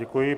Děkuji.